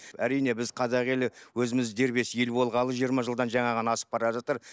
әрине біз қазақ елі өзіміз дербес ел болғалы жиырма жылдан жаңа ғана асып бара жатыр